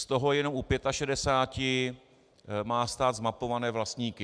Z toho jenom u 65 má stát zmapované vlastníky.